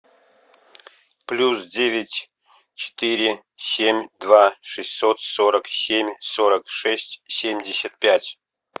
плюс девять четыре семь два шестьсот сорок семь сорок шесть семьдесят пять